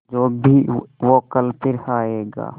जो भी हो कल फिर आएगा